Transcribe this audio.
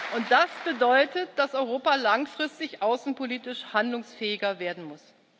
Und das bedeutet, dass Europa langfristig außenpolitisch handlungsfähiger werden muss.